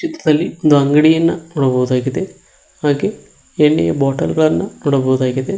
ಬಿಸ್ಲಾಲಲ್ಲಿ ಒಂದು ಅಂಗಡಿಯನ್ನು ನೋಡಬಹುದಾಗಿದೆ ಹಾಗೆ ಎಣ್ಣೆಯ ಬಾಟಲ್ ಗಳನ್ನ ನೋಡಬಹುದಾಗಿದೆ.